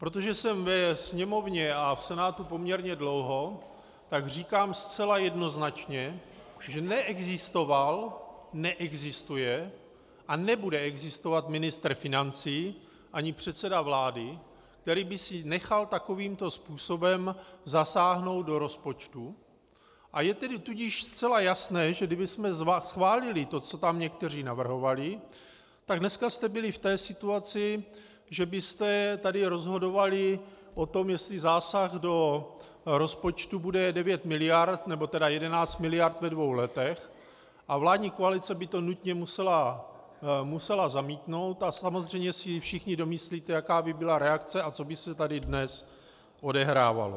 Protože jsem ve Sněmovně a v Senátu poměrně dlouho, tak říkám zcela jednoznačně, že neexistoval, neexistuje a nebude existovat ministr financí ani předseda vlády, který by si nechal takovýmto způsobem zasáhnout do rozpočtu, a je tedy tudíž zcela jasné, že kdybychom schválili to, co tam někteří navrhovali, tak dneska jste byli v té situaci, že byste tady rozhodovali o tom, jestli zásah do rozpočtu bude 9 miliard, nebo tedy 11 miliard ve dvou letech, a vládní koalice by to nutně musela zamítnout a samozřejmě si všichni domyslíte, jaká by byla reakce a co by se tady dnes odehrávalo.